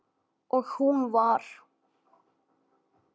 Og hún var